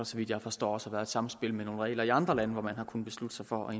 så vidt jeg forstår også været et samspil med nogle regler i andre lande hvor man har kunnet beslutte sig for